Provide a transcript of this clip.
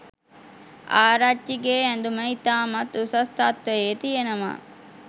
ආරච්චි‍ගේ ඇදුම ඉතාමත් උසස් තත්ත්වයේ තියෙනවා.